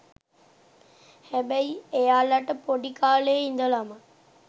හැබැයි එයාලට පොඩි කාලේ ඉඳලම